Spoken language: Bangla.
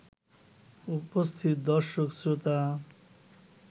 উপস্থিত দর্শক-শ্রোতা